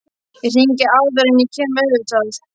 Ég hringi áður en ég kem, auðvitað.